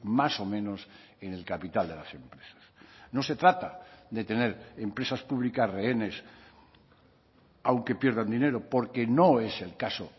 más o menos en el capital de las empresas no se trata de tener empresas públicas rehenes aunque pierdan dinero porque no es el caso